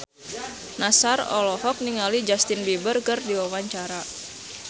Nassar olohok ningali Justin Beiber keur diwawancara